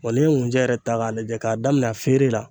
Bɔn n'i ye ŋunjɛ yɛrɛ ta k'a lajɛ k'a daminɛ a feere la